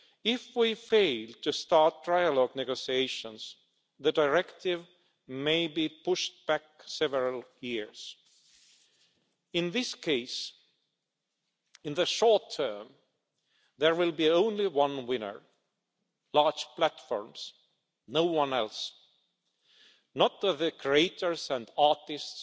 If we fail to start trilogue negotiations, the directive may be pushed back several years. In this case, in the short term, there will be only one winner large platforms no one else, not the creators and artists,